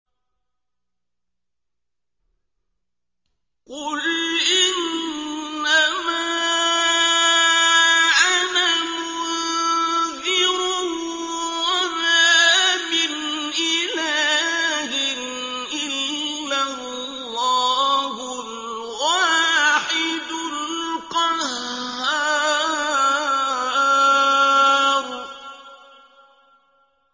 قُلْ إِنَّمَا أَنَا مُنذِرٌ ۖ وَمَا مِنْ إِلَٰهٍ إِلَّا اللَّهُ الْوَاحِدُ الْقَهَّارُ